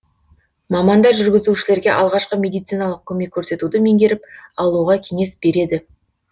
мамандар жүргізушілерге алғашқы медициналық көмек көрсетуді меңгеріп алуға кеңес береді